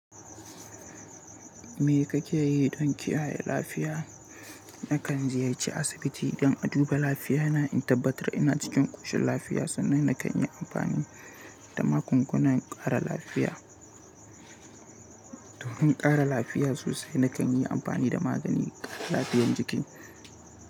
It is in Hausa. Me kake yi don kiyaye lafiya? Nakan ziyarci asibiti don a duba lafiya na in tabbatar ina cikin ƙoshin lafiya, sannan na kan yi amfani da magungunan ƙara lafiya. Don ƙara lafiya sosai, na kan yi amfani da maganin ƙara lafiyar jiki.